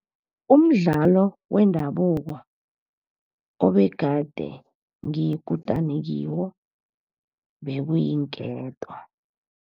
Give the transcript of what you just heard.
Umdlalo wendabuko obegade ngiyikutani kiwo bekuyinketo.